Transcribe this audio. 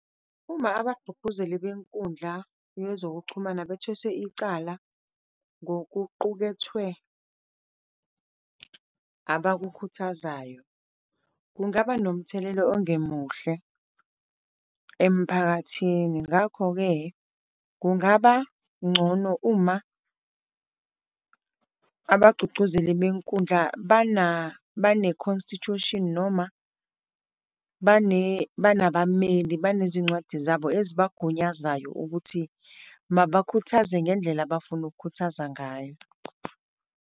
Uma abagqugquzeli benkundla yezokuchumana bethweswe icala, ngokuqukethwe abakukhuthazayo, kungaba nomthelela ongemuhle emphakathini. Ngakho-ke, kungaba ngcono uma abachuchuzeli benkundla bane-constitution, noma banabameli abanezincwadi zabo elibagunyazayo ukuthi mabakhuthaze ngendlela abafuna ukukhuthaza ngayo.